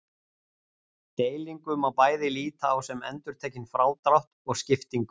Segir nauðsynlegt að auka hagvöxt